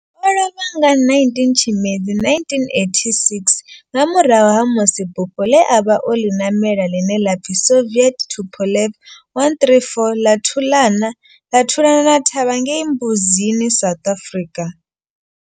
O lovha nga 19 Tshimedzi 1986 nga murahu ha musi bufho ḽe a vha o ḽi ṋamela, ḽine ḽa pfi Soviet Tupolev 134 ḽa thuḽana ḽa thulana thavha ngei Mbuzini, South Africa.